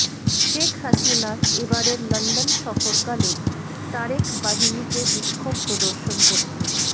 শেখ হাসিনার এবারের লন্ডন সফরকালে তারেক বাহিনীকে বিক্ষোভ প্রদর্শন করতে